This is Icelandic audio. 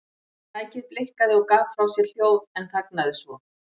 Tækið blikkaði og gaf frá sér hljóð en þagnaði svo.